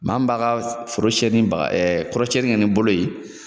Maa min b'a ka foro siɲɛ ni baga kɔrɔsiɲɛni kɛ ni bolo ye